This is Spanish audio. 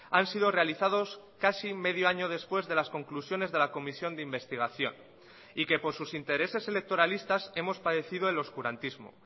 han sido realizados casi medio año después de las conclusiones de la comisión de investigación y que por sus intereses electoralistas hemos padecido el oscurantismo